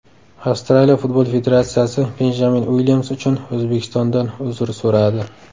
Avstraliya futbol federatsiyasi Benjamin Uilyams uchun O‘zbekistondan uzr so‘radi.